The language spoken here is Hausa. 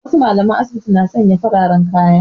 Wasu mallaman asibiti na sanya fararen kaya